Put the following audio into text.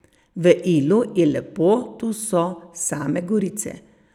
V Ilu je lepo, tu so same gorice.